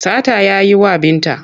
Sata ya yi wa Binta.